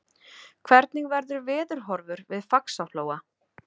hvernig verður veðurhorfur við faxaflóa